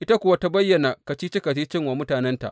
Ita kuwa ta bayyana kacici kacicin wa mutanenta.